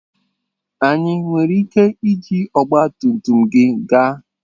Anyị nwere ike iji ọgba tum tum gị gaa?